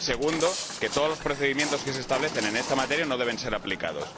la segunda, que todos los procedimientos que se establecen en esta materia no deben ser aplicados.